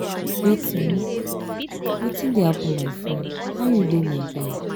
wetin wetin um dey happen my friend how you dey my guy?